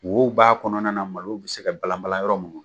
Wo b'a kɔnɔna na malo bɛ se ka balanban yɔrɔ min.